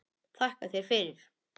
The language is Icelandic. Þakka þér fyrir.